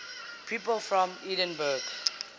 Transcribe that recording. people from edinburgh